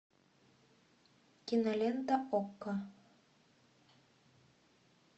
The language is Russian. кинолента окко